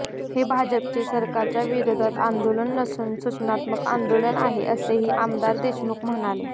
हे भाजपचे सरकारच्या विरोधात आंदोलन नसून सूचनात्मक आंदोलन आहे असेही आमदार देशमुख म्हणाले